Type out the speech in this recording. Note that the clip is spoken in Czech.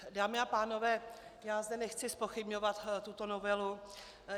Dámy a pánové, já zde nechci zpochybňovat tuto novelu.